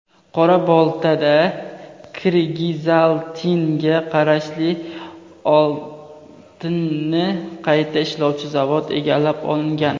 Qora-Boltada "Kirgizaltin"ga qarashli oltinni qayta ishlovchi zavod egallab olingan.